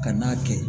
Ka n'a kɛ